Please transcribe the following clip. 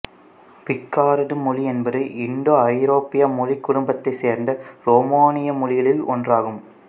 Picard மொழி என்பது இந்தோ ஐரோப்பிய மொழிக்குடும்பத்தை சேர்ந்த உரோமானிய மொழிகளுள் ஒன்றாகும்